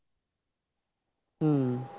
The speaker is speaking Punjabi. ਹਮ